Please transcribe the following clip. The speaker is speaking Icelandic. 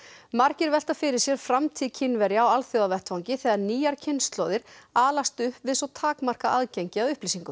margir velta fyrir sér framtíð Kínverja á alþjóðavettvangi þegar nýjar kynslóðir alast upp við svo takmarkað aðgengi að upplýsingum